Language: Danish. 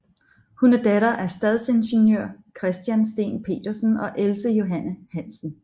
Hun er datter af stadsingeniør Christian Steen Petersen og Else Johanne Hansen